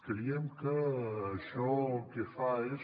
creiem que això el que fa és